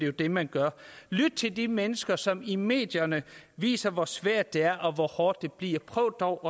er det man gør lyt til de mennesker som i medierne viser hvor svært det er og hvor hårdt det bliver prøv dog